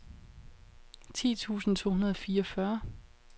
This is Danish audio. ti tusind to hundrede og fireogfyrre